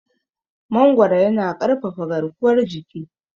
Mangoro yana ƙarfafa garkuwar jiki.